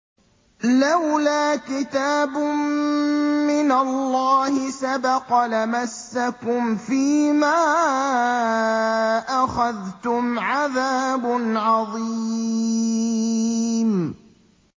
لَّوْلَا كِتَابٌ مِّنَ اللَّهِ سَبَقَ لَمَسَّكُمْ فِيمَا أَخَذْتُمْ عَذَابٌ عَظِيمٌ